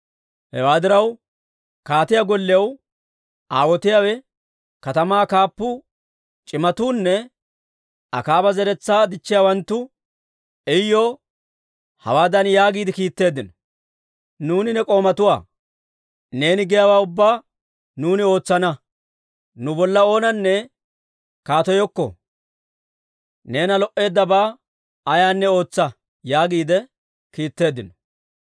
Hewaa diraw, kaatiyaa gollew aawotiyaawe, katamaa kaappuu, c'imatuunne Akaaba zeretsaa dichchiyaawanttu Iyuw hawaadan yaagiide kiitteeddino; «Nuuni ne k'oomatuwaa; neeni giyaawaa ubbaa nuuni ootsana. Nu bolla oonanne kaateyokko. Neena lo"eeddabaa ayaanne ootsa» yaagiide kiitteeddino.